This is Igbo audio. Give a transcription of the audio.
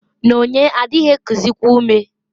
"Nonye adịghị ekuzịkwa ume".